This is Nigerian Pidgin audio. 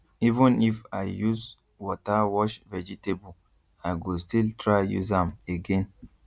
even if i use water wash vegetable i go still try use am again